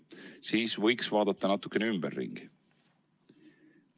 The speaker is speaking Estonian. Siis võiks vaadata natukene ümberringi.